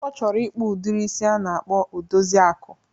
Ọ chọrọ ịkpụ udiri isi a na-akpọ Odoziakụ.